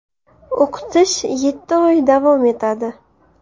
O‘qitish yetti oy davom etadi.